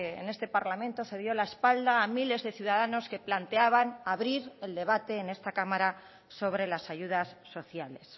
en este parlamento se dio la espalda a miles de ciudadanos que planteaban abrir el debate en esta cámara sobre las ayudas sociales